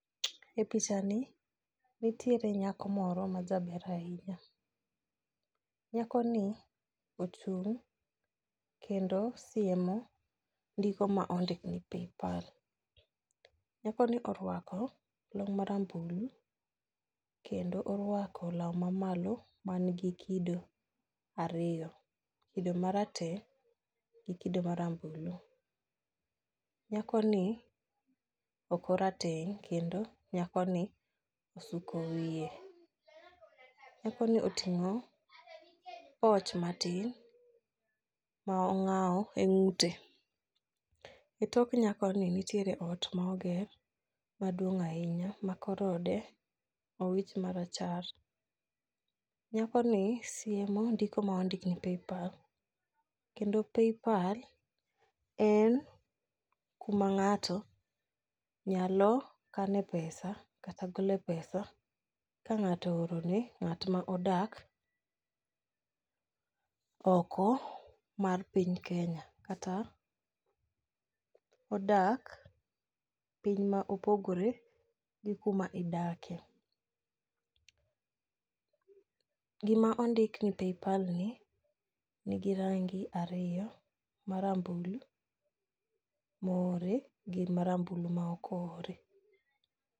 E pichani nitiere nyako moro majaber ahinya. Nyakoni ochung' kendo siemo ndiko ma ondik ni paypal. Nyakoni orwako long marambulu kendo orwako law mamalo manigi kido ariyo, kido marateng' gi kido marambulu, nyakoni ok orateng' kendo nyakoni osuko wiye. Nyakoni oting'o poch matin ma ong'awo ng'ute,e tok nyakoni nitiere ot ma oger maduong' ahinya ma kor ode owich marachar. Nyakoni siemo ndiko ma ondik ni paypal, kendo paypal en kuma ng'ato nyalo kane pesa kata gole pesa ka ng'ato ooro ne ng'at ma odak oko mar piny Kenya kata odak piny ma opogore gi kuma idake. Gima ondik ni pay pal ni, nigi rangi ariyo marambulu mohowre gi marambulu ma ok ohowre.